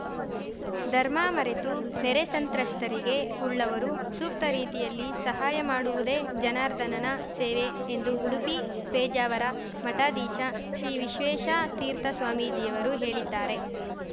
ಧರ್ಮ ಮರೆತು ನೆರೆ ಸಂತ್ರಸ್ತರಿಗೆ ಉಳ್ಳವರು ಸೂಕ್ತ ರೀತಿಯಲ್ಲಿ ಸಹಾಯ ಮಾಡುವುದೇ ಜನಾರ್ದನನ ಸೇವೆ ಎಂದು ಉಡುಪಿ ಪೇಜಾವರ ಮಠಾಧೀಶ ಶ್ರೀ ವಿಶ್ವೇಶತೀರ್ಥ ಸ್ವಾಮೀಜಿಯವರು ಹೇಳಿದ್ದಾರೆ